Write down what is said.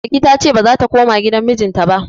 Balki ta ce ba za ta koma gidan mijinta ba.